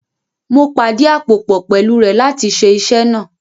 Mo pàdíàpòpọ̀ pẹ̀lú rẹ̀ láti ṣe iṣẹ́ náà